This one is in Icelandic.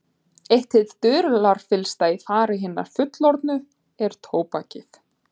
Eitt hið dularfyllsta í fari hinna fullorðnu er tóbakið.